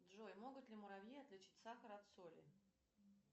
джой могут ли муравьи отличить сахар от соли